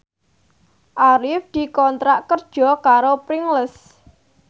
Arif dikontrak kerja karo Pringles